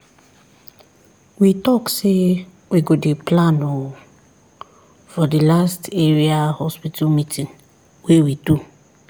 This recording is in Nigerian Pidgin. we talk say we go dey plan ooo for the the last area hospital meeting wey we do